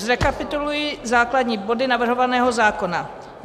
Zrekapituluji základní body navrhovaného zákona.